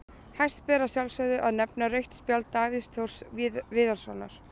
Hæst ber að sjálfsögðu að nefna rautt spjald Davíðs Þórs Viðarssonar.